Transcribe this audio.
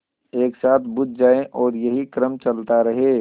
एक साथ बुझ जाएँ और यही क्रम चलता रहे